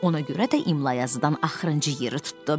Ona görə də imla yazıdan axırıncı yeri tutdu.